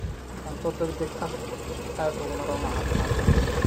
Cunto degdeg ah aad uguma roona caafimaadka.